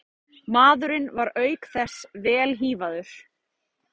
Maðurinn var auk þess vel hífaður